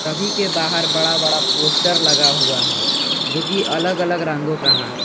सभी के बाहर बड़ा बड़ा पोस्टर लगा हुआ है जो कि अलग अलग रंगों का है।